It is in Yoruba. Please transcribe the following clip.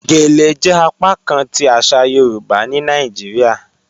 Gèlè jẹ apakán ti aṣa Yorùbá ni Nàìjíríà